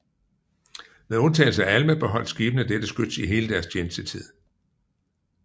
Med undtagelse af Alma beholdt skibene dette skyts i hele deres tjenestetid